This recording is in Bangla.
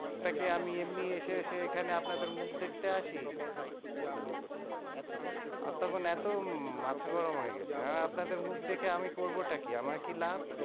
তা কে আমি এমনি এসে এসে মুখ এইখানে আপনাদের দেখতে আসি? অতক্ষণ এত মাথা গরম গেছে আপনাদের মুখ দেখে আমি করবো টা কি? আমার কি লাভ?